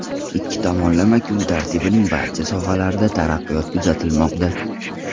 Ikki tomonlama kun tartibining barcha sohalarida taraqqiyot kuzatilmoqda.